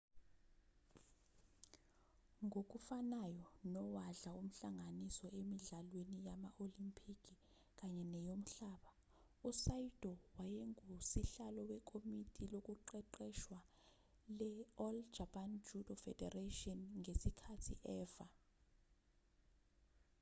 ngokufanayo nowadla umhlanganiso emidlalweni yama olempikhi kanye neyomhlaba u-saito wayengusihlalo wekomiti lokuqeqeshwa le-all japan judo federation ngesikhathi efa